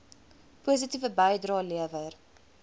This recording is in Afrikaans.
positiewe bydrae lewer